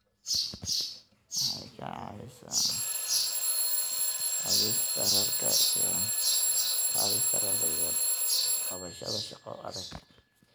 Waxay ka caawisaa qaadista rarka iyo qabashada shaqo adag.